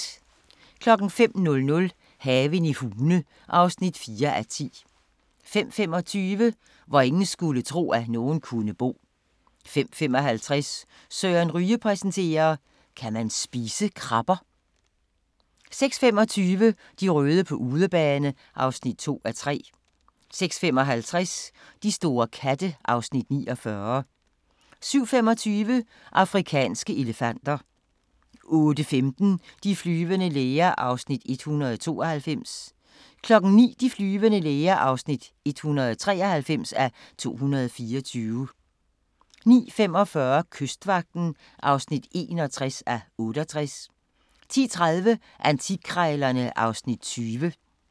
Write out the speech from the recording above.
05:00: Haven i Hune (4:10) 05:25: Hvor ingen skulle tro, at nogen kunne bo 05:55: Søren Ryge præsenterer: Kan man spise krabber? 06:25: De røde på udebane (2:3) 06:55: De store katte (Afs. 49) 07:25: Afrikanske elefanter 08:15: De flyvende læger (192:224) 09:00: De flyvende læger (193:224) 09:45: Kystvagten (61:68) 10:30: Antikkrejlerne (Afs. 20)